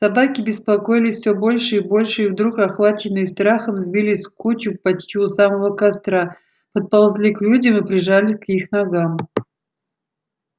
собаки беспокоились все больше и больше и вдруг охваченные страхом сбились в кучу почти у самого костра подползли к людям и прижались к их ногам